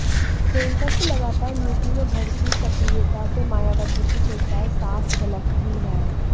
प्रियंका की लगातार यूपी में बढ़ती सक्रियता से मायावती की चिंताए साफ झलकती हैं